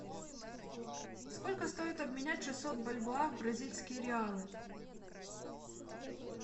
сколько стоит обменять шестьсот бальбоа в бразильские реалы